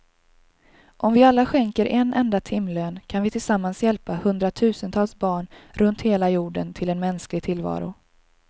Om vi alla skänker en enda timlön kan vi tillsammans hjälpa hundratusentals barn runt hela jorden till en mänsklig tillvaro.